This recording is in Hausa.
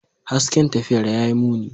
Hasken tafiyar ya yi muni.